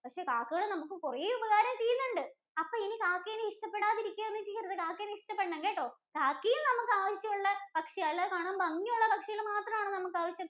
പക്ഷെ കാക്കകൾ നമുക്ക് കുറേ ഉപകാരം ചെയ്യുന്നുണ്ട്. അപ്പൊ ഇനി കാക്കേനെ ഇഷ്ട്ടപ്പെടാതിരിക്കുകയോന്നും ചെയ്യരുത്. കാക്കേനെ ഇഷ്ടപ്പെടണം കേട്ടോ. കാക്കയും നമുക്ക് ആവശ്യം ഉള്ള പക്ഷിയാ. അല്ലാതെ ഭംഗിയുള്ള പക്ഷികൾ മാത്രാണോ നമുക്ക് ആവശ്യം?